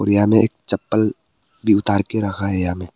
और यहां में एक चप्पल भी उतार के रखा है यहा मे।